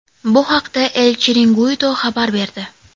Bu haqda El Chiringuito xabar berdi .